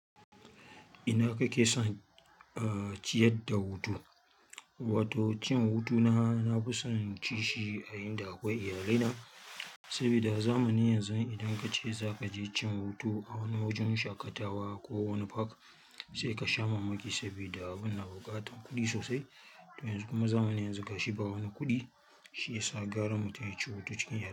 Ina kake son ciyar da hutu? Wato cin hutu na, na fi son in ci shi a inda akwai iyalai na, sabida zamanin yanzu idan kace zaka je cin hutu a wani wajen shaƙatawa ko wani park, sai ka sha mamaki sabida abun na buƙatan kuɗi sosai. To yanzu kuma zamanin yanzu ga shi ba wani kuɗi, shi ya sa gara mutum ya ci hutu cikin iyalai.